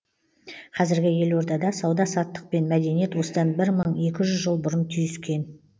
қазіргі елордада сауда саттық пен мәдениет осыдан бір мың екі жүз жыл бұрын түйіскен